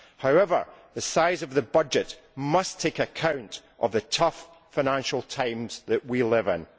However, the size of the budget must take account of the tough financial times that we live in.